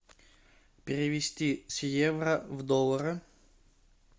перевести с евро в доллары